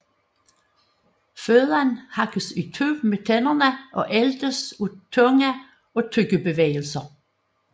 Føden hakkes i stykker med tænderne og æltes af tunge og tyggebevægelser